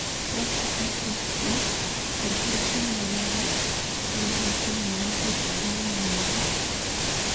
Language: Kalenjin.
Fatty acids ko sosit neoo nebo ngubusiek ab mugleldo ak meliik